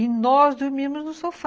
E nós dormíamos no sofá.